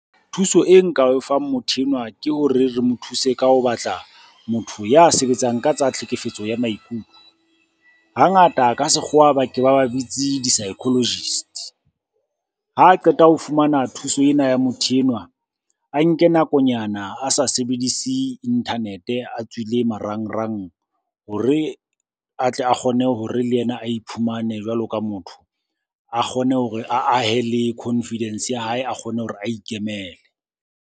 Thuso e nka o fang motho enwa ke hore re mo thuse ka ho batla motho ya sebetsang ka tsa tlhekefetso ya maikutlo. Hangata ka sekgowa ba ke ba ba bitse di-psychologist-e. Ha qeta ho fumana thuso ena ya motho enwa, a nke nakonyana a sa sebedise internet-e a tswile marangrang hore a tle a kgone hore le yena a iphumane jwalo ka motho. A kgone hore a ahe le confidence ya hae, a kgone hore a ikemele.